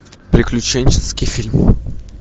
приключенческий фильм